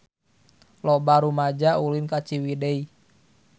Loba rumaja ulin ka Ciwidey